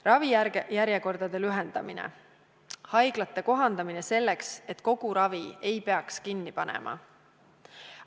Ravijärjekordade lühendamine, haiglate kohandamine selleks, et kogu ravi ei peaks kinni panema.